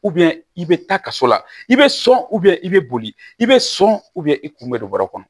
i bɛ taa kaso la i bɛ sɔn i bɛ boli i bɛ sɔn i kun bɛ don bɔrɛ kɔnɔ